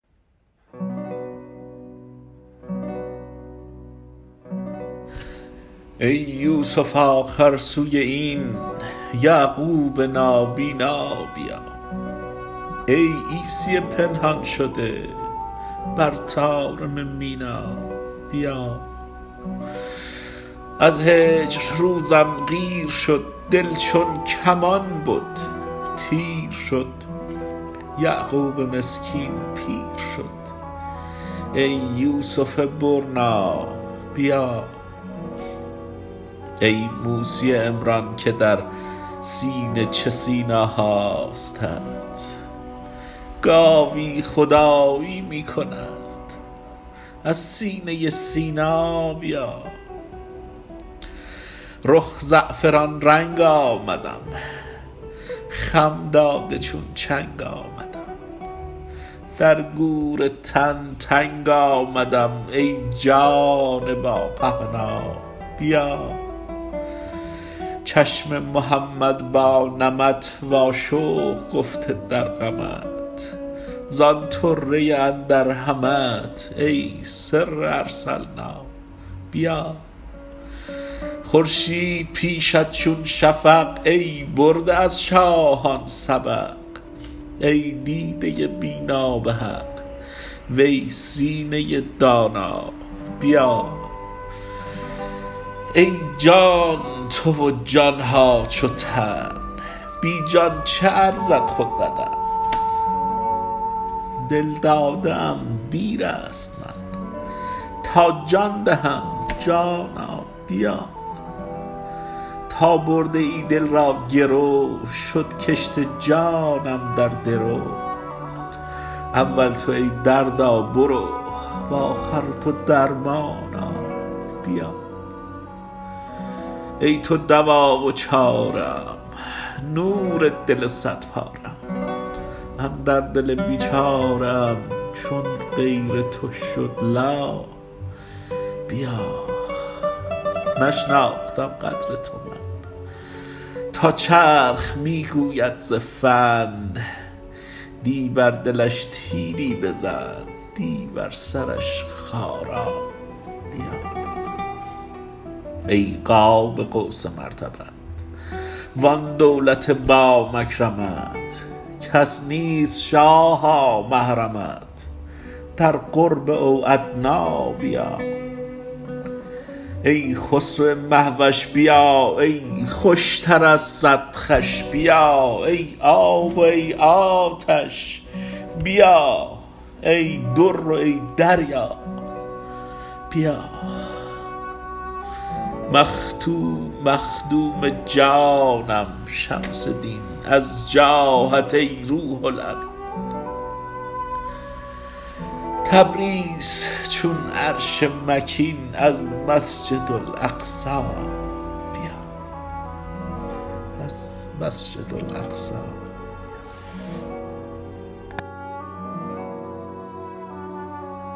ای یوسف آخر سوی این یعقوب نابینا بیا ای عیسی پنهان شده بر طارم مینا بیا از هجر روزم قیر شد دل چون کمان بد تیر شد یعقوب مسکین پیر شد ای یوسف برنا بیا ای موسی عمران که در سینه چه سینا هاستت گاوی خدایی می کند از سینه سینا بیا رخ زعفران رنگ آمدم خم داده چون چنگ آمدم در گور تن تنگ آمدم ای جان با پهنا بیا چشم محمد با نمت واشوق گفته در غمت زان طره اندر همت ای سر ارسلنا بیا خورشید پیشت چون شفق ای برده از شاهان سبق ای دیده بینا به حق وی سینه دانا بیا ای جان تو و جان ها چو تن بی جان چه ارزد خود بدن دل داده ام دیر است من تا جان دهم جانا بیا تا برده ای دل را گرو شد کشت جانم در درو اول تو ای دردا برو و آخر تو درمانا بیا ای تو دوا و چاره ام نور دل صدپاره ام اندر دل بیچاره ام چون غیر تو شد لا بیا نشناختم قدر تو من تا چرخ می گوید ز فن دی بر دلش تیری بزن دی بر سرش خارا بیا ای قاب قوس مرتبت وان دولت با مکرمت کس نیست شاها محرمت در قرب او ادنی بیا ای خسرو مه وش بیا ای خوشتر از صد خوش بیا ای آب و ای آتش بیا ای در و ای دریا بیا مخدوم جانم شمس دین از جاهت ای روح الامین تبریز چون عرش مکین از مسجد اقصی بیا